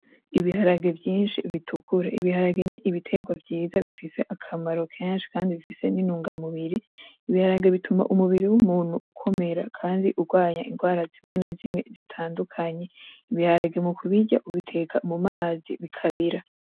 Ibiharage vyinshi bitukura, ibiharage n'ibitegwa vyiza bifise akamaro kenshi kandi bifise n'intunga mubiri, ibiharage bituma umubiri w'umuntu ukomera kandi ugwanya ingwara zimwe na zimwe zitandukanye. Ibiharage mu kubirya ubiteka mu mazi bikabira.